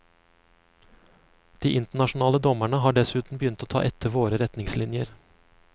De internasjonale dommerne har dessuten begynt å ta etter våre retningslinjer.